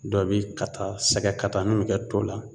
Dɔw bi kata sɛgɛ kata min bi kɛ to la